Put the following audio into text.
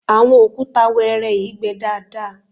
àwọn òkúta wẹ́ẹ́rẹ́ yìí gbẹ daadaa